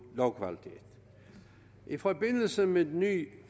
lovkvalitet i forbindelse med ny